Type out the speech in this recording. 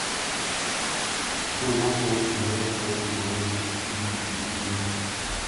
какое масло лучше заливать в холодную погоду в двигатель машины